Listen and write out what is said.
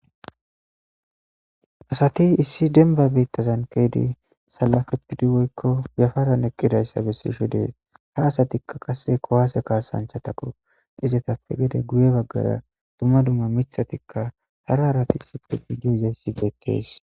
Asati issi demmba bittazan sallafetidi woyikko yaffaran eqqodayisa bessishe de'es ha asatikka qase kuwase kassanchchatakko izetappe gedde guye baggara duma duma miththatikka hara harati issippe dizayisi bettes.